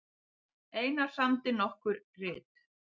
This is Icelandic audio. Einar samdi nokkur rit